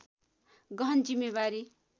गहन जिम्मेवारी